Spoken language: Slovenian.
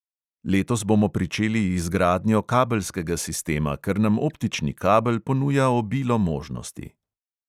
Letos bomo pričeli izgradnjo kabelskega sistema, ker nam optični kabel ponuja obilo možnosti.